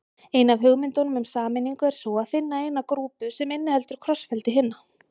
Ein af hugmyndunum um sameiningu er sú að finna eina grúpu sem inniheldur krossfeldi hinna.